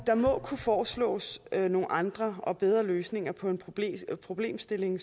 kunne foreslås nogle andre og bedre løsninger på problemstillingen